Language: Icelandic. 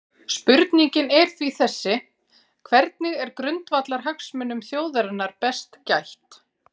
Spurningin sé því þessi: Hvernig er grundvallarhagsmunum þjóðarinnar best gætt?